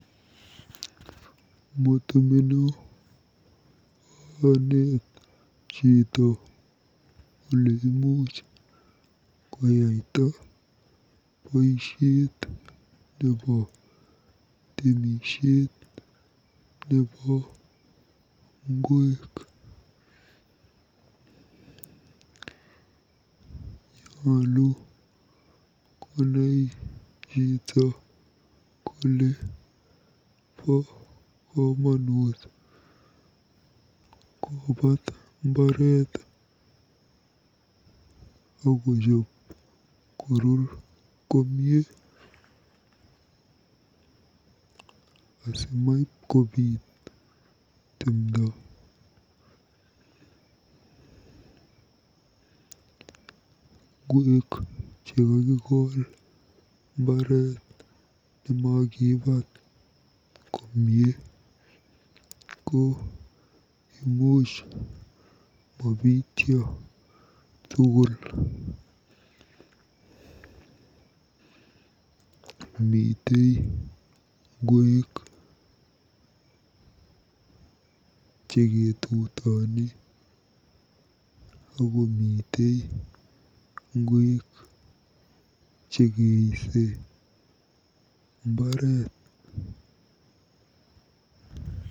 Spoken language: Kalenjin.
Motemeno aneet chito oleimuch koyaita boisiet nebo temisiet nebo nwek. Nyolu konai chito kole bo komonut kobaat mbaret akochoob koruur komie asimabkobiit timdo. Ngweek chekakikol mbaret nemakibaat komie ko imuch mabityo tugul. Mitei ngweek cheketutoni akomite ngweek chekeisei mbaret.